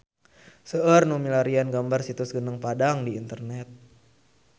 Seueur nu milarian gambar Situs Gunung Padang di internet